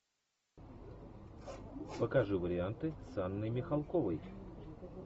покажи варианты с анной михалковой